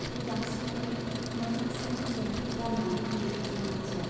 गिबांसिनै मोखां सोम सोम रान्नानै हैयो सनाथिया।